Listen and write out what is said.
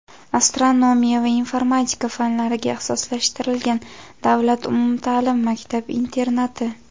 astronomiya va informatika fanlariga ixtisoslashtirilgan davlat umumta’lim maktab-internati.